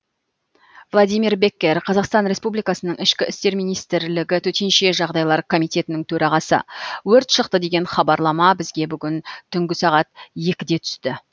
владимир беккер қазақстан республикасының ішкі істер министрлігі төтенше жағдайлар комитетінің төрағасы өрт шықты деген хабарлама бізге бүгін түнгі екіде түсті